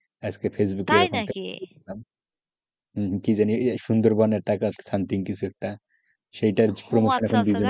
আজকে ফেসবুকে দেখলাম হম হম সুন্দরবনের টাকা something কিছু একটাসেইটার promotion,